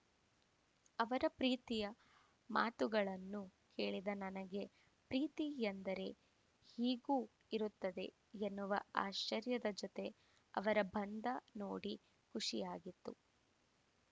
ಅವರ ಪ್ರೀತಿಯ ಮಾತುಗಳನ್ನು ಕೇಳಿದ ನನಗೆ ಪ್ರೀತಿ ಎಂದರೆ ಹೀಗೂ ಇರುತ್ತದೆ ಎನ್ನುವ ಆಶ್ಚರ್ಯದ ಜೊತೆಗೆ ಅವರ ಬಂಧ ನೋಡಿ ಖುಷಿಯಾಗಿತ್ತು